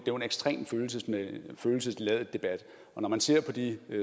ekstremt følelsesladet debat og når man ser på de